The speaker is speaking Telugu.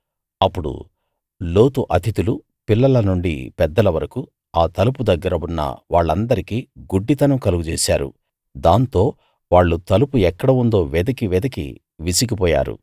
అప్పుడు లోతు అతిథులు పిల్లల నుండి పెద్దల వరకూ ఆ తలుపు దగ్గర ఉన్న వాళ్ళందరికీ గుడ్డితనం కలుగజేశారు దాంతో వాళ్ళు తలుపు ఎక్కడ ఉందో వెదికీ వెదికీ విసిగిపోయారు